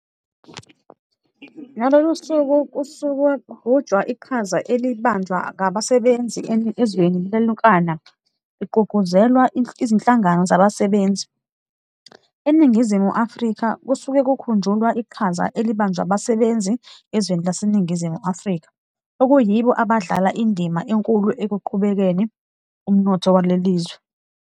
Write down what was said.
Ngalolu suku kususuke kugujwa iqhaza elibanjwa ngabasebenzi ezweni lilonkana, lugqugquzelwa Izinhlangano Zabasebenzi. ENingizimu Afrika kusuke kukhunjulwa uqhaza elibanjwa abasebenzi ezweni laseNingizimu Afrika, okuyibo abadlala indima enkulu ekuqhubeni umnotho walelizwe.